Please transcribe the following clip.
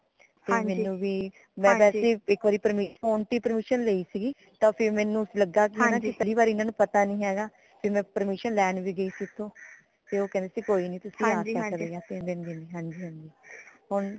ਤੇ ਮੈਨੂੰ ਵੀ ਮੈਂ ਵੈਸੇ ਇੱਕ ਵਾਰੀ ਫੋਨ ਤੇ ਹੀ permission ਲਈ ਸੀਗੀ ਤਾ ਫਿਰ ਮੈਨੂੰ ਲਗਾ ਕਿਪਹਿਲੀ ਵਾਰੀ ਇਨਾ ਨੂ ਪਤਾ ਨੀ ਹੇਗਾ ਕਿ ਮੈਂ permission ਲੈਣ ਵੀ ਗਈ ਸੀਗੀ ਓਥੇ ਤੇ ਓ ਕਹਿੰਦੇ ਕੋਈ ਨੀ ਤੁਸੀ ਆ ਸਕਦੇ ਹੋ ਤਿਨ ਦਿਨ ਹਾਂਜੀ ਹਾਂਜੀ